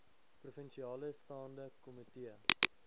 provinsiale staande komitee